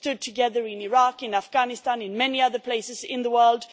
we have stood together in Iraq, Afghanistan and many other places in the world